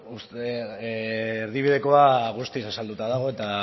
erdibidekoa guztiz azalduta dago eta